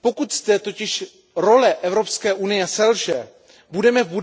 Pokud zde totiž role Evropské unie selže, budeme v